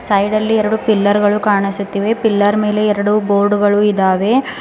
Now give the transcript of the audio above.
ಸೈಡಲ್ಲಿ ಎರಡು ಪಿಲ್ಲರ್ ಗಳು ಕಾಣಿಸುತ್ತಿವೆ ಪಿಲ್ಲರ್ ಮೇಲೆ ಎರಡು ಬೋರ್ಡ್ ಗಳು ಇದಾವೆ.